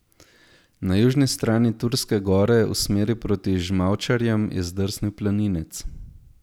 Na južni strani Turske gore v smeri proti Žmavčarjem je zdrsnil planinec.